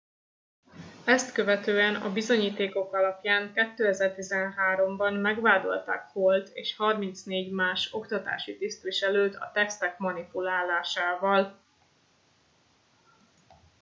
ezt követően a bizonyítékok alapján 2013 ben megvádolták hallt és 34 más oktatási tisztviselőt a tesztek manipulálásával